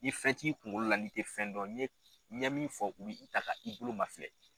Ni fɛn t'i kunkolo la ni tɛ fɛn dɔ n'i ye ɲɛ min fɔ u bi i ta ka i bolo mafilɛ.